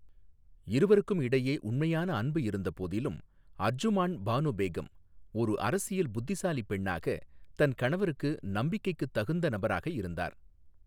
இருவருக்கும் இடையே உண்மையான அன்பு இருந்தபோதிலும், அர்ஜுமாண்ட் பானு பேகம் ஒரு அரசியல் புத்திசாலி பெண்ணாக தன் கணவருக்கு நம்பிக்கைக்குத் தகுந்த நபராக இருந்தார்.